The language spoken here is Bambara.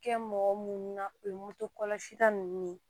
Kɛ mɔgɔ munnu na o ye moto kɔlɔsi ta nunnu ye